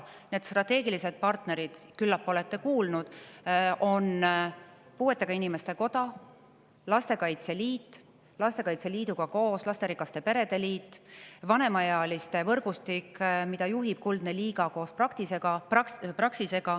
Need strateegilised partnerid, küllap olete kuulnud, on puuetega inimeste koda, Lastekaitse Liit, Lastekaitse Liiduga koos lasterikaste perede liit, vanemaealiste võrgustik, mida juhib Kuldne Liiga koos Praxisega.